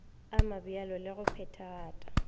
a mabjalo le go phethagata